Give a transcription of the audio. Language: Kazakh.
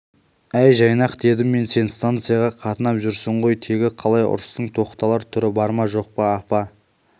әй жайнақ дедім мен сен станцияға қатынап жүрсің ғой тегі қалай ұрыстың тоқталар түрі бар ма жоқ апа